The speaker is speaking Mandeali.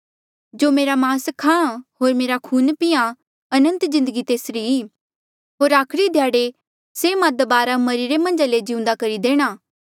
जो मेरा मास खाहाँ होर मेरा खून पींहां अनंत जिन्दगी तेसरी ई होर आखरी ध्याड़े से मां दबारा मरिरे मन्झा ले जिउंदे करी देणा